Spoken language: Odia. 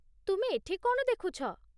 ତୁମେ ଏଠି କ'ଣ ଦେଖୁଛ?